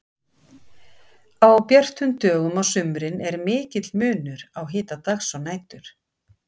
á björtum dögum á sumrin er mikill munur á hita dags og nætur